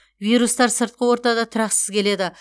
вирустар сыртқы ортада тұрақсыз келеді